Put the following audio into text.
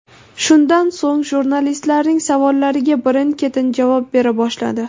Shundan so‘ng jurnalistlarning savollariga birin-ketin javob bera boshladi.